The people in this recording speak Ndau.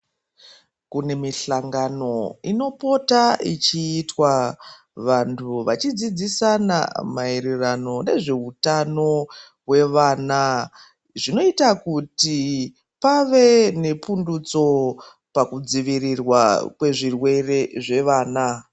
Kune mihlangano inopota ichiitwa vantu vachidzidzisana maererano nezveutano hwevana zvinoita kuti pave nepundutso pakudzivirirwa kwezvirwere zvevana.